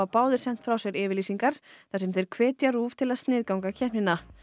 báðir sent frá sér yfirlýsingar þar sem þeir hvetja RÚV til að sniðganga keppnina